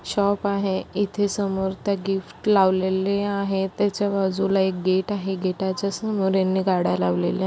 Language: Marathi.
शॉप आहे इथे समोर त्या गिफ्ट लावलेले आहे त्याच्या बाजूला एक गेट आहे गेटाच्या समोर यांनी गाड्या लावलेल्या --